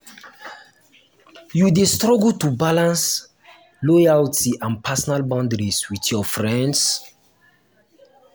you dey struggle to balance loyalty and personal boundaries with your friends?